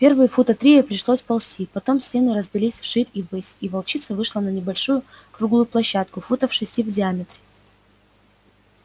первые фута три ей пришлось ползти потом стены раздались вширь и ввысь и волчица вышла на небольшую круглую площадку футов шести в диаметре